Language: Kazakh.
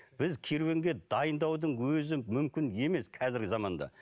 біз керуенге дайындаудың өзі мүмкін емес қазіргі заманда